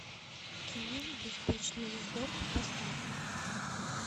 кино беспечный ездок поставь